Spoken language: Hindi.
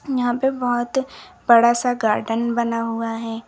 यहां पे बहोत बड़ा सा गार्डन बना हुआ है।